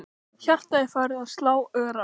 Hjartað er farið að slá örar.